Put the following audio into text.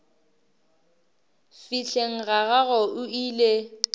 fihleng ga gagwe o ile